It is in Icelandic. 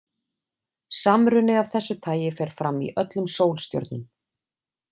Samruni af þessu tagi fer fram í öllum sólstjörnum.